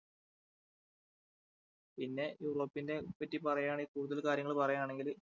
പിന്നെ യൂറോപ്പിനെ പറ്റി പറയാണെങ്കിൽ കൂടുതൽ കാര്യങ്ങൾ പറയാണെങ്കില്